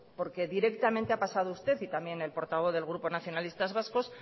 porque directamente a pasado usted y también el portavoz del grupo nacionalistas vascos